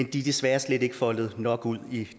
desværre slet ikke er foldet nok ud i